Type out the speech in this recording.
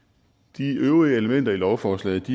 de øvrige elementer i lovforslaget